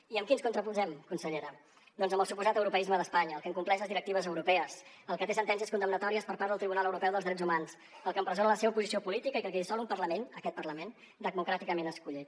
i amb qui ens contraposem consellera doncs amb el suposat europeisme d’espanya el que incompleix les directives europees el que té sentències condemnatòries per part del tribunal europeu dels drets humans el que empresona la seva oposició política i que dissol un parlament aquest parlament democràticament escollit